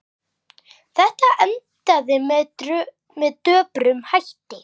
Þetta endaði með döprum hætti.